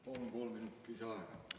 Palun kolm minutit lisaaega!